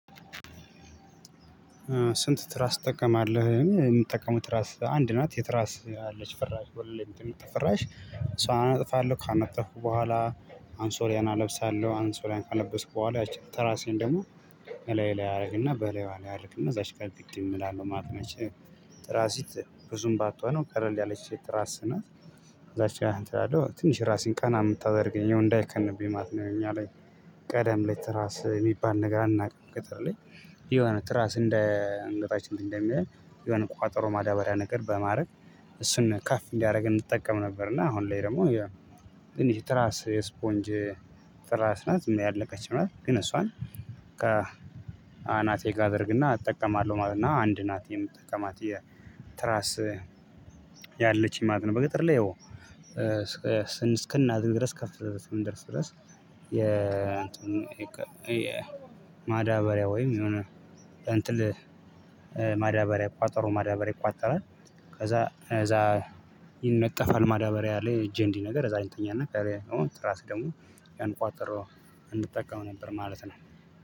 ስንት ትራስ ትጠቀማለህ? የምጠቀመው ትራስ አንድ ናት የትራስ አለች ፈራሽ ወለል ላይ ምትነጠፍ ፈራሽ እሷን አነጥፋለሁ ካነጠፉ በኋላ አንሶላየን አለብሳለሁ አንሶላየን ካለበሱ በኋላ ያቺ ተራሴን ደግሞ በላይ ላይ ያደርግና በላይ ዋለ ያደርግና እዛች ግጥም እላለው ማለት ነች። ትራሲት ብዙም ባትሆንም ቀለል ያለች ትራስ ናት። እዛች ጋር እንትን አላለው ትንሽ ራሴን ቀና የምታደርገኝ እንዳይከንብኝ ማለት ነው። እኛ ላይ ቀደም ላይ ትራስ የሚባል ነገር አናውቅም ገጠር ላይ። የሆነ ትራስ እንደ አንገታችን እንደሚያይ የሆነ ቋጠሮ ማዳበሪያ ነገር በማድረግ እሱን ካፍ እንዲያደርግ እንጠቀም ነበር። እና አሁን ላይ ደግሞ ትራስ የስፖንጅ ትራስ ናት። ዝም ያለቀች ናት ግን እሷን ከ አናቴ ጋር አደርግ እና እጠቀማለሁ ማለት ነው። እና አንድ ናት የምጠቀማት የትራስ ያለችኝ ማለት ነው። በገጠር ላይ ያው እስክናድግ ድረስ ከፍ ድረስ እስከምንደርስ ድረስ። የእንትን የማዳበሪያ ወይም የሆነ አንጥል ማዳበሪያ ቋጠሮ ማዳበሪያ ይቋጠራል። ከዛ እዛ ይነጠፋል ማዳበሪያ ላይ እጄ እንዲህ ነገር እዛ ላይ እንተኛለን። ከዛ አሁን ትራስ ደግሞ ያን ቋጠሮ እንጠቀም ነበር ማለት ነው።